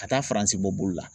Ka taa Faransi bɔ bolo la.